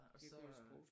Og så